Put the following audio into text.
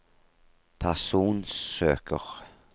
personsøker